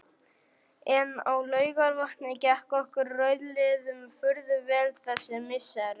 En á Laugarvatni gekk okkur rauðliðum furðu vel þessi misserin.